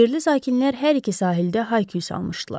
Yerli sakinlər hər iki sahildə hayküy salmışdılar.